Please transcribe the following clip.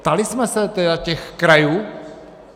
Ptali jsme se těch krajů?